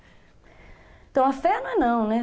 Então, a fé não é não, né?